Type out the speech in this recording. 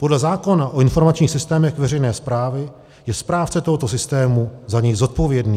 Podle zákona o informačních systémech veřejné správy je správce tohoto systému za něj zodpovědný.